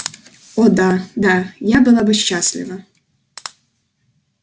о да да я была бы счастлива